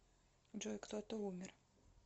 джой кто то умер